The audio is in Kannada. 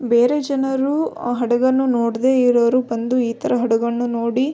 ಬೇರೆ ಜನರು ಹಡಗನ್ನು ನೋಡದೆ ಇರುವವರು ಈ ತರ ಹಡಗನ್ನು ನೋಡಿ --